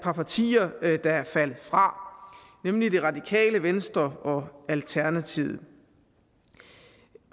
par partier der er faldet fra nemlig det radikale venstre og alternativet